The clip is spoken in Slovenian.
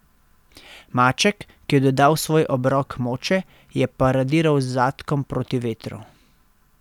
Maček, ki je dodal svoj obrok moče, je paradiral z zadkom proti vetru.